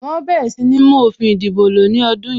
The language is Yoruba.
Wọn ó bẹ̀rẹ̀ sí ní mú òfin ìdìbò lo ní ọdún yìí